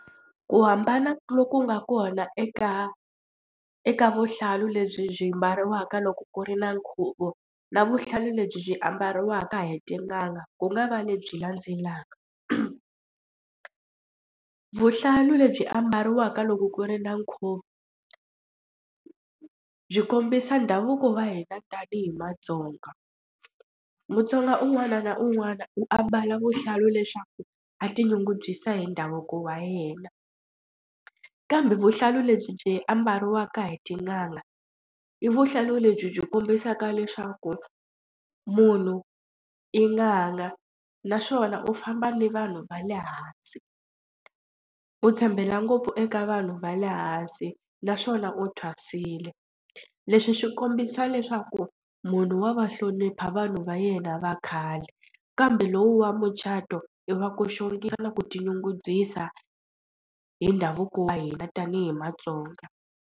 Ku hambana loku nga kona eka eka vuhlalu lebyi byi mbariwaka loko ku ri na nkhuvo na vuhlalu lebyi ambariwaka hi tin'anga ku nga va lebyi landzelaka, vuhlalu lebyi ambariwaka loko ku ri na nkhuvo byi kombisa ndhavuko wa hina tanihi matsonga. Mutsonga un'wana na un'wana u ambala vuhlalu leswaku a ti nyungubyisa hi ndhavuko wa yena kambe vuhlalu lebyi ambariwaka hi tin'anga i vuhlalu lebyi byi kombisaka leswaku munhu i n'anga naswona u famba ni vanhu va le hansi u tshembela ngopfu eka vanhu va le hansi naswona u thwasile. Leswi swi kombisa leswaku munhu wa va hlonipha vanhu va yena va khale kambe lowu wa mucato i va ku xongisa na ku tinyungubyisa hi ndhavuko wa hina tanihi matsonga.